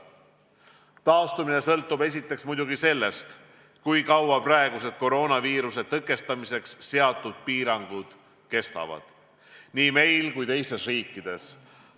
Taastumine sõltub esiteks muidugi sellest, kui kaua praegused koroonaviiruse tõkestamiseks seatud piirangud kestavad nii meil kui ka teistes riikides.